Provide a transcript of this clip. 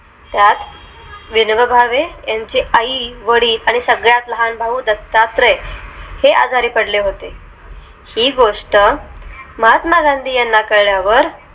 त्यात विनोबा भावे यांचे आई वडील आणि सगळ्यात लहान भाऊ दत्तात्रय हे आजारी पडले होते ही गोष्ट महात्मा गांधी यांना कळल्या वर